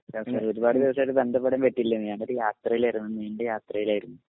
ഒരുപാട് ദിവസമായിട്ട് ബന്ധപ്പെടാൻ പറ്റില്ലായിരുന്നു. ഞാനൊരു യാത്രയിലായിരുന്നു ഒരു നീണ്ട യാത്രയിലായിരുന്നു.